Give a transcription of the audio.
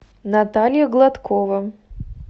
наталья гладкова